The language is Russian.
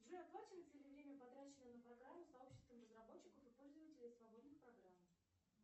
джой оплачивается ли время потраченное на программу сообществом разработчиков и пользователей свободных программ